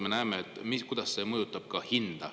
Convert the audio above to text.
Me näeme, kuidas see mõjutab ka hinda.